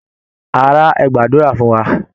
Ará, ẹ gbàdúra fún wa!